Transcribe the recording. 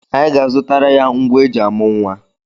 Anyị ga-azụtara ya ngwa eji amụ nwa.